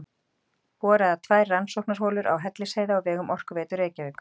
Boraðar tvær rannsóknarholur á Hellisheiði á vegum Orkuveitu Reykjavíkur.